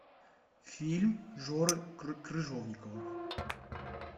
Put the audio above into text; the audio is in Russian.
фильм жоры крыжовникова